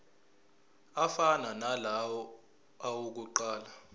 afana nalawo awokuqala